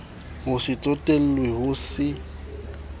ho se tsotellwe ho se